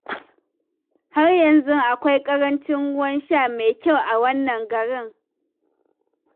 Har yanzu akwai ƙarancin ruwan sha mai kyau a wannan garin.